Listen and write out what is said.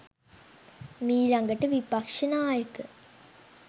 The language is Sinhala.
මීලඟට විපක්‍ෂනායක